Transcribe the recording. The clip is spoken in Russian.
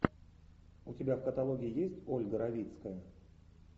у тебя в каталоге есть ольга равицкая